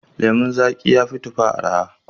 Lemon zaƙi ya fi tufa araha.